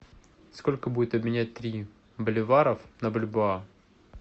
сколько будет обменять три боливаров на бальбоа